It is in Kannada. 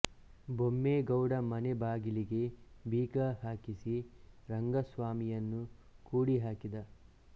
ಬೊಮ್ಮೇಗೌಡ ಮನೆ ಬಾಗಿಲಿಗೆ ಬೀಗ ಹಾಕಿಸಿ ರಂಗಸ್ವಾಮಿಯನ್ನು ಕೂಡಿ ಹಾಕಿದ